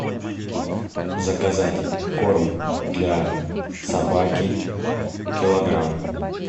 заказать корм для собаки килограмм